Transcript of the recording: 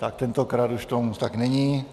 Tak tentokrát už tomu tak není.